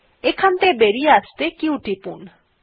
এখান থেকে বেরিয়ে আসতেহলে q টিপতে হবে